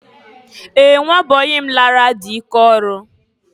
Ee! Nwa bọyị m lara dị ike ọrụ.